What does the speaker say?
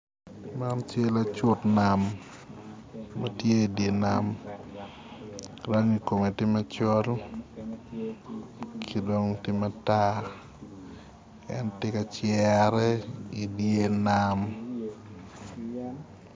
Man cal acut nam matye i dye nam rangi kome tye macol ki dong tye matar en tye kacere idye nam